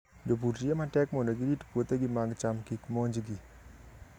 Jopur tiyo matek mondo girit puothegi mag cham kik monjgi.